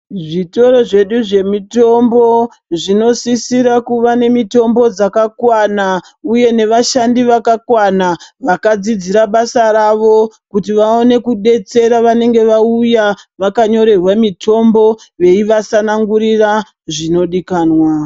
Zvitoro zvedu zvemitombo zvinosisira kuva nemitombo dzakakwana uye nevashandi vakakwana vakadzidzira basa ravo kuti vaone kudetsera vanenge vauya vakanyorerwa mitombo veivatsanangurira zvinodikanwa.